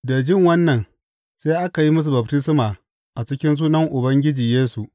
Da ji wannan, sai aka yi musu baftisma a cikin sunan Ubangiji Yesu.